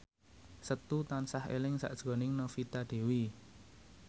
Setu tansah eling sakjroning Novita Dewi